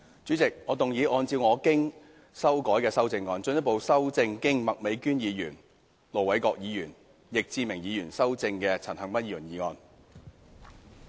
主席，我動議按照我經修改的修正案，進一步修正經麥美娟議員、盧偉國議員及易志明議員修正的陳恒鑌議員議案。